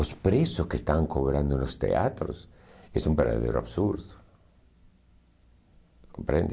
Os preços que estão cobrando os teatros és um verdadeiro absurdo. Compreende?